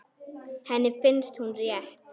Henni finnst hún rétt.